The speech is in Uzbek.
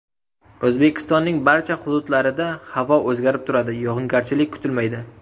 O‘zbekistonning barcha hududlarida havo o‘zgarib turadi, yog‘ingarchilik kutilmaydi.